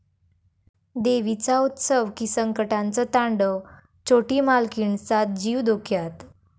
देवीचा उत्सव की संकटांचं तांडव? छोटी मालकीणचा जीव धोक्यात